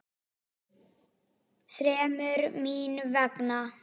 Þremur. mín vegna.